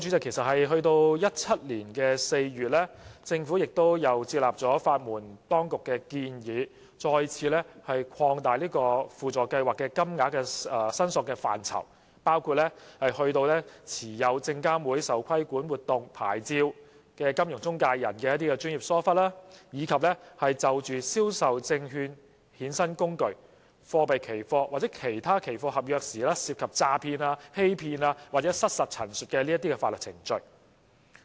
其實在2017年4月，政府已接納法援當局的建議，再次擴大輔助計劃的申索範疇，包括持有證券及期貨事務監察委員會受規管活動牌照的金融中介人的專業疏忽，以及就銷售證券衍生工具、貨幣期貨或其他期貨合約，所涉及的詐騙、欺騙或失實陳述等法律程序。